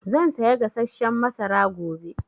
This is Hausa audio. Zan saya gasasshen masara gobe